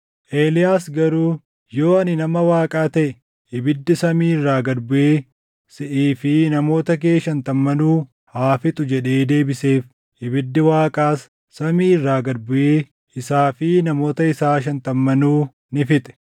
Eeliyaas garuu, “Yoo ani nama Waaqaa taʼe, ibiddi samii irraa gad buʼee siʼii fi namoota kee shantammanuu haa fixu!” jedhee deebiseef. Ibiddi Waaqaas samii irraa gad buʼee isaa fi namoota isaa shantammanuu ni fixe.